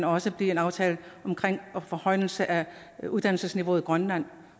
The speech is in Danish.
også bliver en aftale om forhøjelse af uddannelsesniveauet i grønland